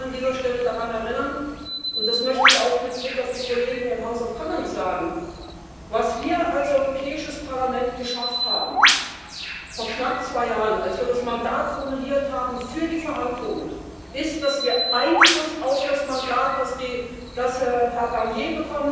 Ich möchte an dieser Stelle daran erinnern und das möchte ich auch mit Blick auf die Kollegen im House of Commons sagen Was wir als Europäisches Parlament geschafft haben, vor knapp zwei Jahren, als wir das Mandat formuliert haben für die Verhandlungen, ist, dass wir Einfluss auf das Mandat von Herrn Barnier